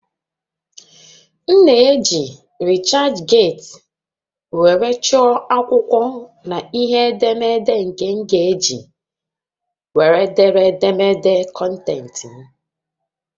M na-eji researchgate were chọọ akwụkwọ na ihe ederede nke m ga-eji were dee édémédé kọntentị m